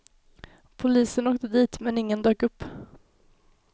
Polisen åkte dit, men ingen dök upp.